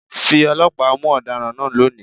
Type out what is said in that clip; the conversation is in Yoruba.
Fi ọlọ́pàá mú ọ̀daràn náà lónìí!